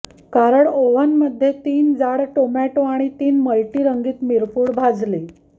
कारण ओव्हन मध्ये तीन जाड टोमॅटो आणि तीन मल्टि रंगीत मिरपूड भाजली